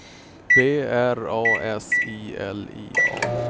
B R A S I L I A